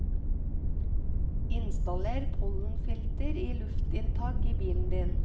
Installer pollenfilter i luftinntaket i bilen din.